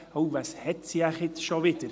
«Uh, was hat sie jetzt schon wieder?»